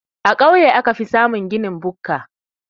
A kauye aka fi samun ginin bukka.